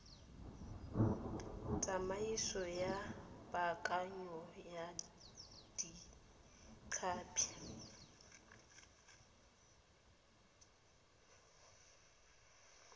tsamaiso ya paakanyo ya ditlhapi